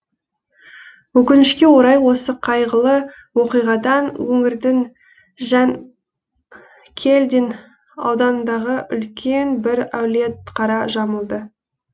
өкінішке орай осы қайғылы оқиғадан өңірдің жанкелдин ауданындағы үлкен бір әулет қара жамылды